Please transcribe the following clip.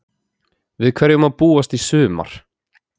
Við hverju má búast í sumar?